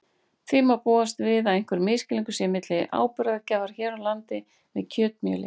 Því má búast við að einhver mismunur sé milli áburðargjafar hér á landi með kjötmjöli.